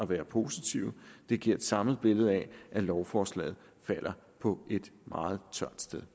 være positive det giver et samlet billede af at lovforslaget falder på et meget tørt sted